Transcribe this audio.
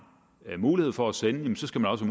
mulighed for at sende så skal man også